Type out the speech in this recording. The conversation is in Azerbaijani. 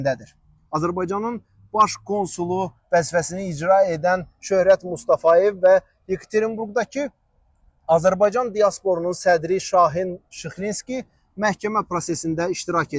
Azərbaycanın baş konsulu vəzifəsini icra edən Şöhrət Mustafayev və Yekaterinburqdakı Azərbaycan diasporunun sədri Şahin Şıxlinski məhkəmə prosesində iştirak ediblər.